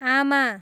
आमा